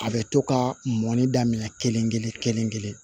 A bɛ to ka mɔnni daminɛ kelen kelen kelen kelen